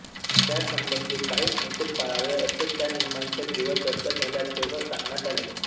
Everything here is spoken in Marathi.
त्यासंबंधी काही संकेत पाळावे असे त्या नियमांच्या जेव्हा चर्चा झाल्या तेव्हा सांगण्यात आले